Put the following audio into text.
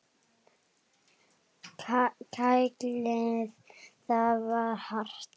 Kælið þar til hart.